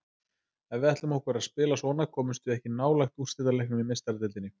Ef að við ætlum okkur að spila svona komumst við ekki nálægt úrslitaleiknum í Meistaradeildinni.